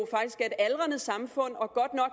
aldrende samfund og